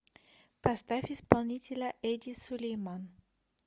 поставь исполнителя эди сулейман